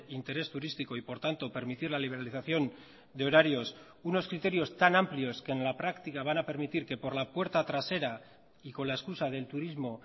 interés turístico y por tanto permitir la liberalización de horarios unos criterios tan amplios que en la práctica van a permitir que por la puerta trasera y con la excusa del turismo